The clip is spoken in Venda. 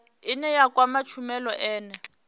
ine ya kwama tshumelo ine